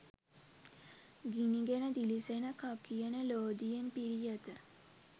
ගිනිගෙන දිලිසෙන, කකියන ලෝදියෙන් පිරී ඇත.